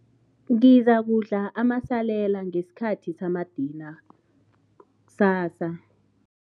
Ngizakudla amasalela ngesikhathi samadina kusasa.